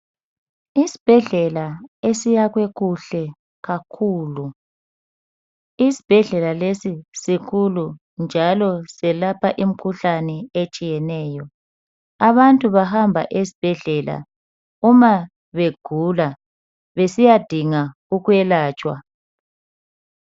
Isibhedlela esiyakwe kuhle kakhulu, esibhedlela lesi sikhulu njalo selapha imikhuhlane atshiyeneyo. Abantu bahamba esbhedlela uma begula, besiyadinga ukwelatshwa.